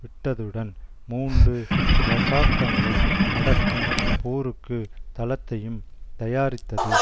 விட்டதுடன் மூன்று தசாப்தங்களை நடக்கும் போருக்கு தளத்தையும் தயாரித்தது